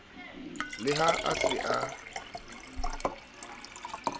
le ha a se a